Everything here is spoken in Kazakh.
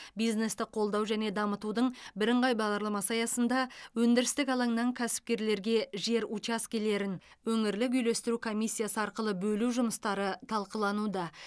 бизнесті қолдау және дамытудың бірыңғай бағдарламасы аясында өндірістік алаңнан кәсіпкерлерге жер учаскелерін өңірлік үйлестіру комиссиясы арқылы бөлу жұмыстары талқылануда